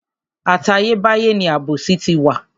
Àtayé báyé ni àbòsí ti wà.